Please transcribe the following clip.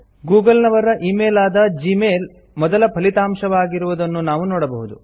Google ನವರ email ಆದ Gmail ಮೊದಲ ಫಲಿತಾಂಶವಾಗಿರುವುದನ್ನು ನಾವು ನೋಡಬಹುದು